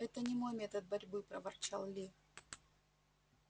это не мой метод борьбы проворчал ли